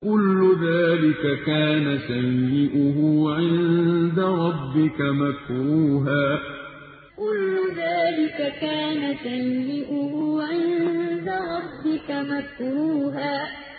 كُلُّ ذَٰلِكَ كَانَ سَيِّئُهُ عِندَ رَبِّكَ مَكْرُوهًا كُلُّ ذَٰلِكَ كَانَ سَيِّئُهُ عِندَ رَبِّكَ مَكْرُوهًا